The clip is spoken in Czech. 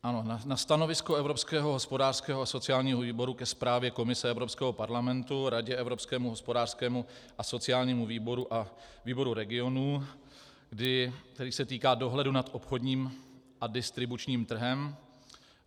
Ano, na stanovisko Evropského hospodářského a sociálního výboru ke zprávě Komise Evropského parlamentu, Radě, Evropskému hospodářskému a sociálnímu výboru a Výboru regionů, který se týká dohledu nad obchodním a distribučním trhem.